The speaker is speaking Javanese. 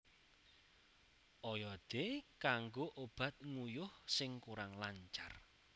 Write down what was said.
Oyode kanggo obat nguyuh sing kurang lancar